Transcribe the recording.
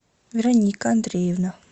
вероника андреевна